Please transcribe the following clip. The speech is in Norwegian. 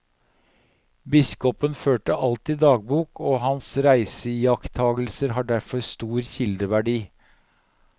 Biskopen førte alltid dagbok, og hans reiseiakttagelser har derfor stor kildeverdi.